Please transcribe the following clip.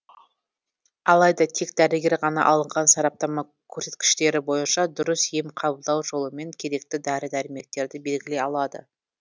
алайда тек дәрігер ғана алынған сараптама көрсеткіштері бойынша дұрыс ем қабылдау жолы мен керекті дәрі дәрмектерді белгілей алады